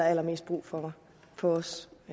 allermest brug for for os